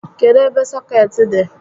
Kedụ ebe sọkeetị dị?